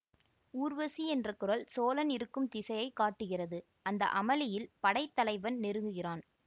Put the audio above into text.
ஊர்வசி என்ற குரல் சோழன் இருக்கும் திசையைக் காட்டுகிறது அந்த அமளியில் படைத்தலைவன் நெருங்குகிறான்